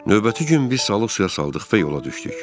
Növbəti gün biz salıq suya saldıq və yola düşdük.